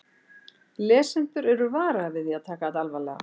Lesendur eru varaðir við því að taka þetta alvarlega.